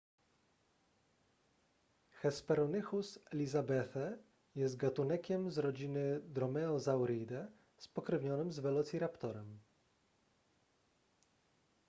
hesperonychus elizabethae jest gatunekiem z rodziny dromaeosauridae spokrewnionym z velociraptorem